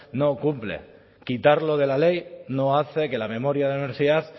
no cumple quitarlo de la ley no hace que la memoria a la universidad